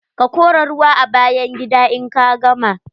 Ka kora ruwa a bayan gida in ka gama.